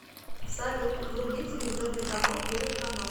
салют вруби телевизионный канал первый канал